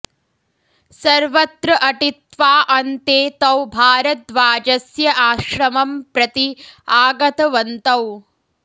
सर्वत्र अटित्वा अन्ते तौ भारद्वाजस्य आश्रमं प्रति आगतवन्तौ